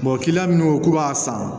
kiliyan minnu k'u b'a san